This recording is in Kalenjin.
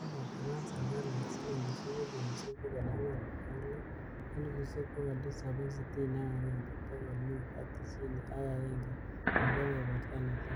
Kokotaban serkalit silingisiek milionisiek bogol angwan ak loo, elfusiek bogol tisap ak sitini ak agenge, bogol mut ak tisaini ak agenge en kebeberta netai.